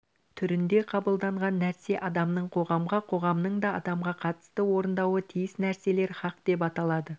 түрінде қабылданған нәрсе адамның қоғамға қоғамның да адамға қатысты орындауы тиіс нәрселер хақ деп аталады